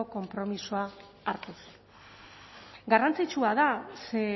konpromisoak hartuz garrantzitsua da ze